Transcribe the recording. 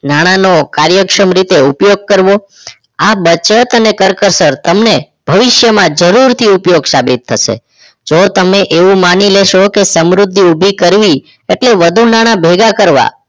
નાણાનો કાર્યક્ષમ રીતે ઉપયોગ કરો. આ બચત અને કરકસર તમને ભવિષ્યમાં જરૂરથી ઉપયોગ સાબિત થશે જો તમે એવું માની લેશો કે સમૃદ્ધિ ઊભી કરવી એટલે વધુ નાણાં ભેગા કરવા